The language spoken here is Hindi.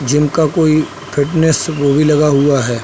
जिम का कोई फिटनेस वो भी लगा हुआ है।